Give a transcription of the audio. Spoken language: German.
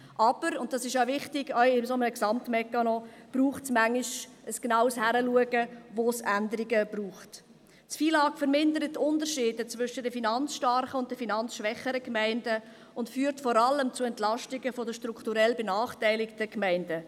Aber, und dies ist wichtig, auch bei einem solchen Gesamtmechanismus braucht es manchmal ein genaues Hinschauen, wo Änderungen notwendig sind.